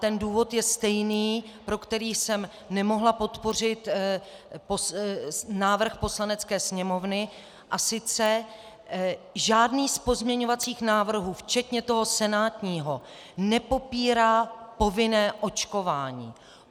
Ten důvod je stejný, pro který jsem nemohla podpořit návrh Poslanecké sněmovny, a sice - žádný z pozměňovacích návrhů, včetně toho senátního, nepopírá povinné očkování.